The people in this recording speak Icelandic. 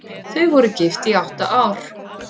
Þau voru gift í átta ár.